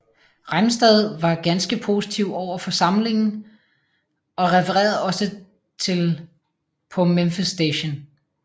Rimestad var ganske positiv over for samlingen og refererede også til Paa Memphis Station